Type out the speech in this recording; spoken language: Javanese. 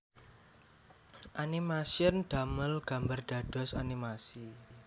Animation damel gambar dados animasi